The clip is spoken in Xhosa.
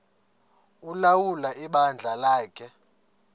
ulawula ibandla lakhe